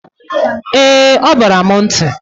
Eeeeǃ Ọ bara m nti.